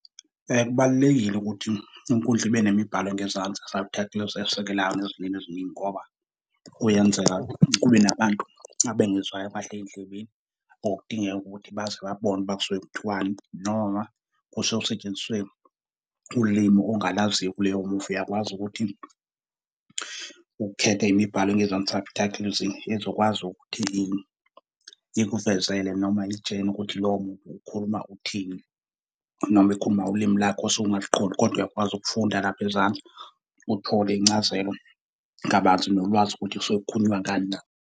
Kubalulekile ukuthi inkundla ibe nemibhalo engezansi, subtitles, esekelayo nezilimi eziningi ngoba kuyenzeka kube nabantu abengezwayo kahle ey'ndlebeni, or kudingeka ukuthi baze babone ukuba suke kuthiwani, noma kusuke kusetshenziswe ulimi ongalaziyo kuleyo muvi. Uyakwazi ukuthi ukhethe imibhalo engezansi, subtitles, ezokwazi ukuthi ikuvezele noma ikutshele ukuthi loyo muntu ukhuluma uthini, noma ikhuluma ngolimi lakho osuke ungaliqondi, kodwa uyakwazi ukufunda lapha ezansi uthole incazelo kabanzi nolwazi ukuthi kusuke kukhulunywa ngani na.